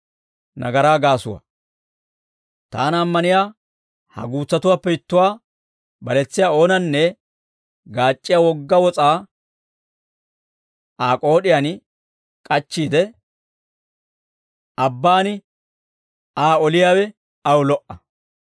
«Taana ammaniyaa ha guutsatuwaappe ittuwaa baletsiyaa oonanne, gaac'c'iyaa wogga wos'aa Aa k'ood'iyaan k'achchiide, abbaan Aa oliyaawe aw lo"a.